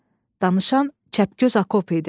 Danışan Kəpgöz Akop idi.